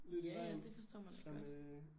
Ja ja det forstår man da godt